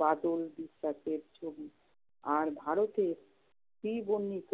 বাদল বিশ্বাসের ছবি। আর ভারতের শ্রী বর্ণিত